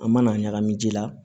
An mana ɲagami ji la